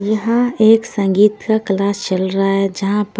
यहाँ एक संगीत का क्लास चल रहा है जहां पर--